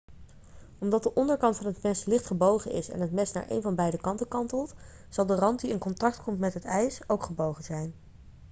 omdat de onderkant van het mes licht gebogen is en het mes naar een van beide kanten kantelt zal de rand die in contact komt met het ijs ook gebogen zijn